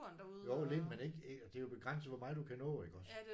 Jo lidt men ikke. Det er jo begrænset hvor meget du kan nå iggås